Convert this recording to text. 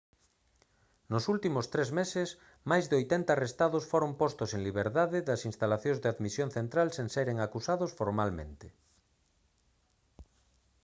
nos últimos tres meses máis de 80 arrestados foron postos en liberdade das instalacións de admisión central sen seren acusados formalmente